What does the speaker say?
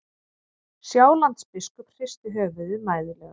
Sjálandsbiskup hristi höfuðið mæðulega.